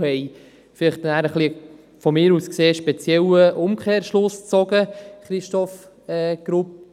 Einige haben einen aus meiner Sicht etwas speziellen Umkehrschluss gezogen, wie etwa Christoph Grupp.